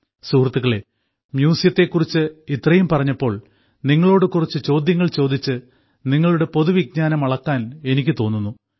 സുഹൃത്തുക്കളേ മ്യൂസിയത്തെ കുറിച്ച് ഇത്രയും പറഞ്ഞപ്പോൾ നിങ്ങളോട് കുറച്ചു ചോദ്യങ്ങൾ ചോദിച്ച് നിങ്ങളുടെ പൊതുവിജ്ഞാനം അളക്കാൻ എനിക്ക് തോന്നുന്നു